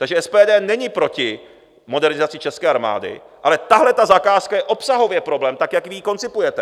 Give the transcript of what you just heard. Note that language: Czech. Takže SPD není proti modernizaci české armády, ale tahle ta zakázka je obsahově problém tak, jak vy ji koncipujete.